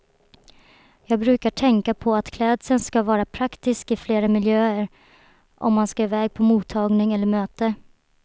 Jag brukar tänka på att klädseln ska vara praktisk i flera olika miljöer, om man ska iväg på mottagning eller möte.